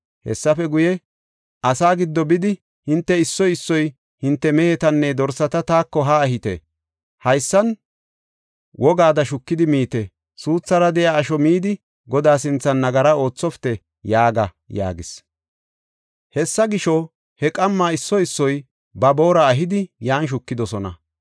Hessafe guye, “Asaa giddo bidi, ‘Hinte issoy issoy hinte mehetanne dorsata taako haa ehite; haysan wogaada shukidi miite. Suuthara de7iya asho midi, Godaa sinthan nagara oothopite’ yaaga” yaagis. Hessa gisho, he qamma issoy issoy ba boora ehidi yan shukidosona.